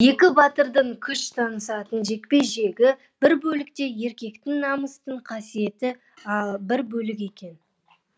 екі батырдың күш сынасатын жекпе жегі бір бөлек те еркектің намыстың қасиеті бір бөлек екен